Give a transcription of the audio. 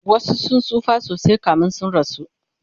wasu sun tsufa sosai kamin su rasu